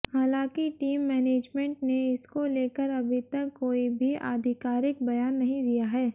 हालांकि team management ने इसको लेकर अभी तक कोई भी आधिकारिक बयान नहीं दिया है